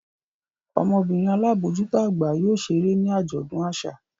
Ọmọbinrin alabojuto agba yóò ṣere ni ajọdun aṣa.